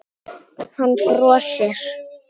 Hann brosir.